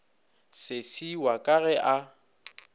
sesi wa ka ge a